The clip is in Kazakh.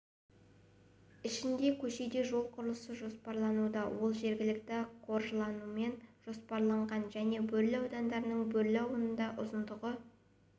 ішінде көшеде жол құрылысы жоспарлануда ол жергілікті қаржыланумен жоспарланған және бөрлі ауданының бөрлі ауылында ұзындығы